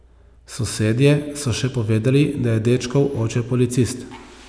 Sosedje so še povedali, da je dečkov oče policist.